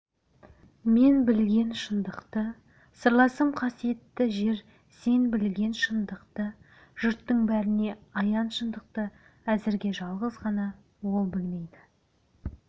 мен білген шындықты сырласым қасиетті жер сен білген шындықты жұрттың бәріне аян шындықты әзірге жалғыз ғана ол білмейді